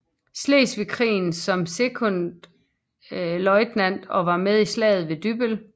Slesvigske Krig som sekondløjtnant og var med i Slaget ved Dybbøl